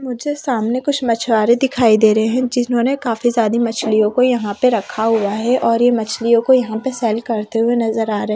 मुझे सामने कुछ मछुआरे दिखाई दे रहे हैं जिन्होंने काफी सारी मछलियों को यहां पे रखा हुआ है और ये मछलियों को यहां पे सेल करते हुए नजर आ रहे--